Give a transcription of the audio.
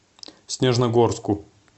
снежногорску